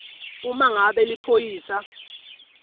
uma ngabe liphoyisa